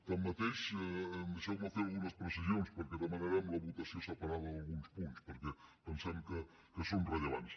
tanmateix deixeu me fer algunes precisions perquè demanarem la votació separada d’alguns punts perquè pensem que són rellevants